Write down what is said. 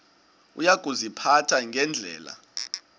uya kuziphatha ngendlela